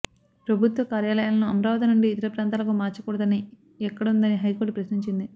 ప్రభుత్వ కార్యాలయాలను అమరావతి నుండి ఇతర ప్రాంతాలకు మార్చకూడదని ఎక్కడుందని హైకోర్టు ప్రశ్నించింది